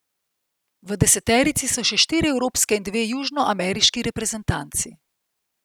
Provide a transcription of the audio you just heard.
V deseterici so še štiri evropske in dve južnoameriški reprezentanci.